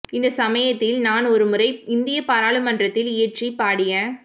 இந்த சமயத்தில் நான் ஓரு முறை இந்திய பாராளுமன்றத்தில் இயற்றி பாடிய